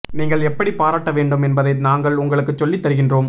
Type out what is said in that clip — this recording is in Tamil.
நீங்கள் எப்படி பாராட்ட வேண்டும் என்பதை நாங்கள் உங்களுக்கு சொல்லி தருகின்றோம்